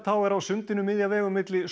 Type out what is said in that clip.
er á sundinu miðja vegu milli